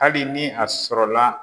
Hali ni a sɔrɔla